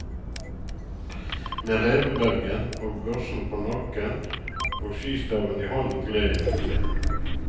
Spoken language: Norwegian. Med revebelgen og børsen på nakken og skistaven i hånden gled jeg avsted.